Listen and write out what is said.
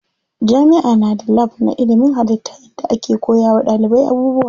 Jami'a na da lab na ilimin hallitta inda ake koya wa ɗalibai abubuwa.